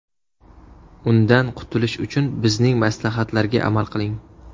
Undan qutilish uchun bizning maslahatlarga amal qiling.